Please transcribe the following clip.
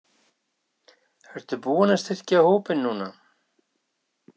Ertu búinn að styrkja hópinn núna?